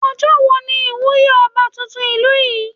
Ọjọ́ wo ni ìwúyé ọba tuntun ìlú yín?